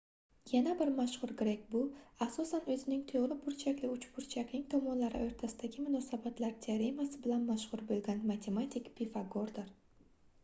yana bir mashhur grek bu asosan oʻzining toʻgʻri burchakli uchburchakning tomonlari oʻrtasidagi munosabatlar teoremasi bilan mashhur boʻlgan matematik pifagordir